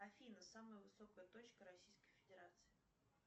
афина самая высокая точка российской федерации